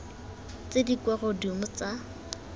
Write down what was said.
tse di kwa godimo tsa